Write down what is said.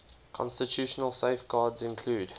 constitutional safeguards include